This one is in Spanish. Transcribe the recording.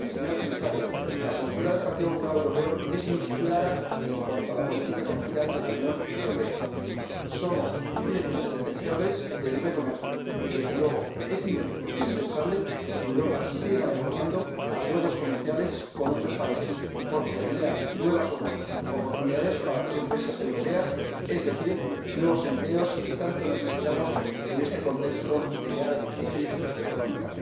Señor Presidente, señor Comisario, la postura del Partido Popular Europeo es muy clara en cuanto a la política comercial de la Unión Europea somos firmes defensores del libre comercio y, desde luego, es indispensable que Europa siga negociando acuerdos comerciales con otros países porque generan nuevas oportunidades para las empresas europeas, es decir, nuevos empleos, que tanto necesitamos en este contexto de grave crisis económica.